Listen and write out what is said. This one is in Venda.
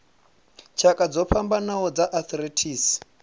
tshakha dzo fhambanaho dza arthritis